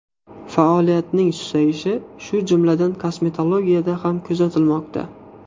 Faoliyatning susayishi, shu jumladan, kosmetologiyada ham kuzatilmoqda.